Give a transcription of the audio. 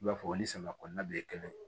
I b'a fɔ o ni samiya kɔnɔna bɛɛ ye kelen ye